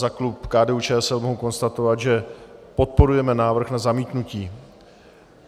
Za klub KDU-ČSL mohu konstatovat, že podporujeme návrh na zamítnutí.